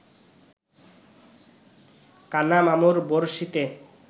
কানা মামুর বড়শিতে